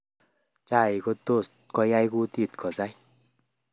Chaik kotos koai kutit kosai